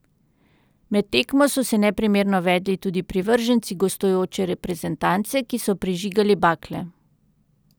Med tekmo so se neprimerno vedli tudi privrženci gostujoče reprezentance, ki so prižigali bakle.